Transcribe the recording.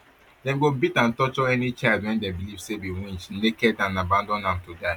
dem go beat and torture any child dem believe say be winch naked and abandon am to die